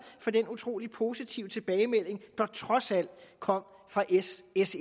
for den utrolig positive tilbagemelding der trods alt kom fra s s